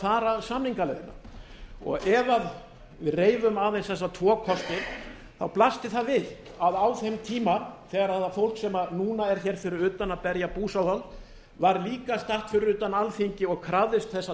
fara samningaleiðina ef við reifum aðeins þessa tvo kosti þá blasti það við að á þeim tíma þegar það fólk sem núna er hér fyrir utan að berja búsáhöld var líka statt fyrir utan alþingi og krafðist þess að